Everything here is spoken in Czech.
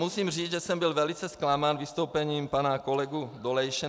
Musím říct, že jsem byl velice zklamán vystoupením pana kolegy Dolejše.